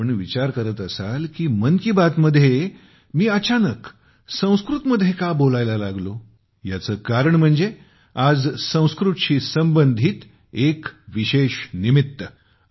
तुम्ही विचार करत असाल की 'मन की बात'मध्ये मी अचानक संस्कृतमध्ये का बोलायला लागलो याचे कारण म्हणजे आज संस्कृतशी संबंधित एक विशेष निमित्त